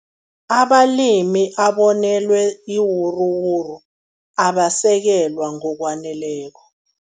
Abalimi abonelwe iinwuruwuru abasekelwa ngokwaneleko.